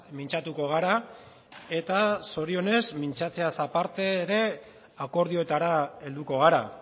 mintzatuko gara eta zorionez mintzatzeaz aparte ere akordioetara helduko gara